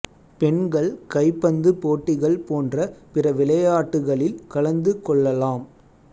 பெண்கள் கைப்பந்து போட்டிகள் போன்ற பிற விளையாட்டுகளில் கலந்து கொள்ளலாம்